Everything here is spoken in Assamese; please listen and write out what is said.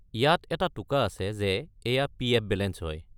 ইয়াত এটা টোকা আছে যে এইয়া পি.এফ. বেলেঞ্চ হয়।